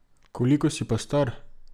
Koliko si pa star?